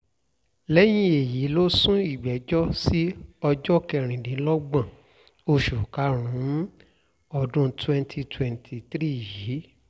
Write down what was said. lẹ́yìn èyí ló sún ìgbẹ́jọ́ sí ọjọ́ kẹrìndínlọ́gbọ̀n oṣù karùn-ún ọdún twenty twenty three yìí